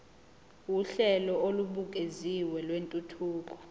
uhlelo olubukeziwe lwentuthuko